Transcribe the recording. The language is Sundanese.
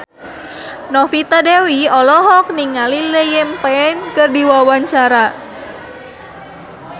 Novita Dewi olohok ningali Liam Payne keur diwawancara